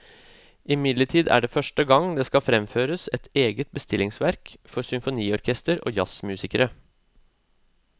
Imidlertid er det første gang det skal framføres et eget bestillingsverk for symfoniorkester og jazzmusikere.